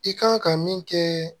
I kan ka min kɛ